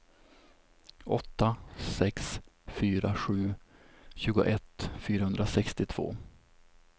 åtta sex fyra sju tjugoett fyrahundrasextiotvå